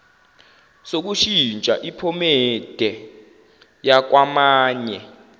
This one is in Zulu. sokushintsha iphomede yakwamanye